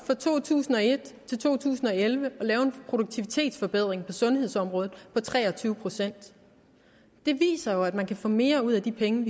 fra to tusind og et til to tusind og elleve lykkedes at lave en produktivitetsforbedring på sundhedsområdet på tre og tyve procent det viser jo at man kan få mere ud af de penge